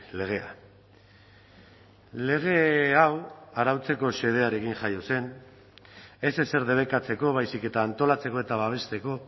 legea lege hau arautzeko xedearekin jaio zen ez ezer debekatzeko baizik eta antolatzeko eta babesteko